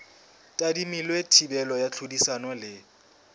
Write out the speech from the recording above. tadimilwe thibelo ya tlhodisano le